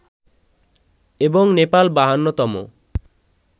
এবং নেপাল ৫২ তম